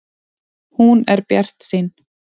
Hún er bjartsýn.